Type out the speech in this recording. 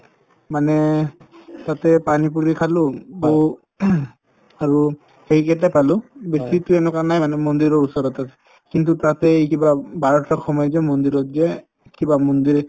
মানে তাতে পানি পুৰি খালো আৰু সেইকেইটা পালো উম বেছিকে এনেকুৱা নাই মানে মন্দিৰৰ ওচৰত আছে কিন্তু তাতে ই কিবা উম সময় যে মন্দিৰত যে কিবা মন্দিৰ